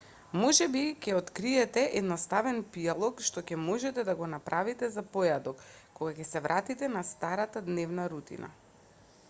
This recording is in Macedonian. можеби ќе откриете едноставен пијалок што ќе можете да го правите за појадок кога ќе се вратите на старата дневна рутина